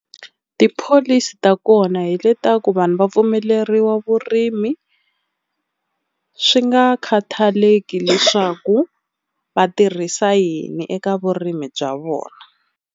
Tipholisi ta kona hi le ta ku vanhu va pfumeleriwa vurimi swi nga khathaleki leswaku va tirhisa yini eka vurimi bya vona.